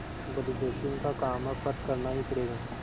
बड़ी जोखिम का काम है पर करना ही पड़ेगा